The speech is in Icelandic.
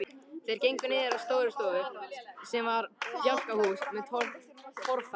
Þeir gengu niður að Stórustofu sem var bjálkahús með torfþaki.